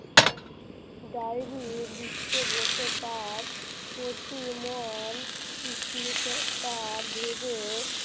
diary লিখতে বসে তার অতি মন তার ভেবে